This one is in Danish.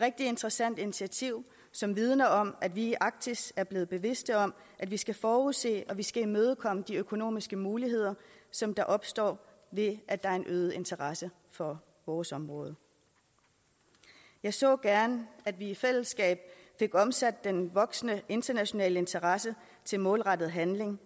rigtig interessant initiativ som vidner om at vi i arktis er blevet bevidste om at vi skal forudse og vi skal imødekomme de økonomiske muligheder som der opstår ved at der er en øget interesse for vores område jeg så gerne at vi i fællesskab fik omsat den voksende internationale interesse til målrettet handling